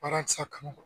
Baarakisɛ kanu